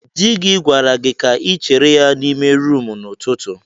Di gi gwara gi ka ịchere ya n'ime rumụ n'ututu a.